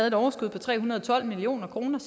et overskud på tre hundrede og tolv million kroner